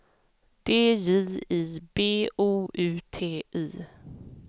D J I B O U T I